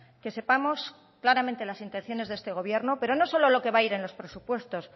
que sepamos claramente las intenciones de este gobierno pero no solo lo que va a ir en los presupuestos